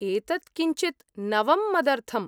एतत् किञ्चित् नवं मदर्थम्।